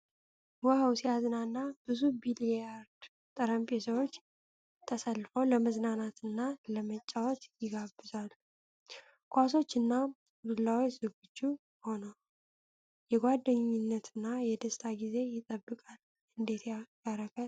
ዋው ሲያዝናና ! ብዙ ቢሊያርድ ጠረጴዛዎች ተሰልፈው ለመዝናናትና ለመጫወት ይጋብዛሉ። ኳሶችና ዱላዎች ዝግጁ ሆነው፣ የጓደኝነትና የደስታ ጊዜ ይጠበቃል። እንዴት ያረካል!